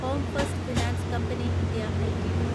home first finance company India LTD